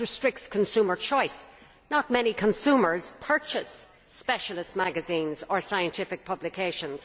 It restricts consumer choice not many consumers purchase specialist magazines or scientific publications.